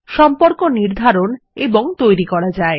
সম্পর্ক নির্ধারণ এবং তৈরি করা যায়